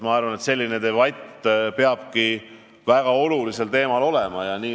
Selline debatt väga olulisel teemal olema peabki.